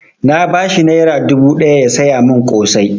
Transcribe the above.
Na ba shi naira dubu ɗaya ya saya mun ƙosai